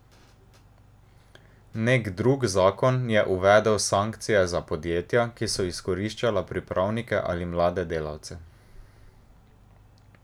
Nek drug zakon je uvedel sankcije za podjetja, ki so izkoriščala pripravnike ali mlade delavce.